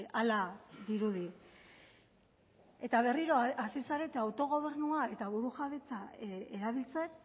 hala dirudi eta berriro hasi zarete autogobernua eta burujabetza erabiltzen